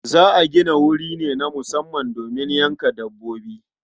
Za a gina wuri ne na musamman domin yanka dabbobi.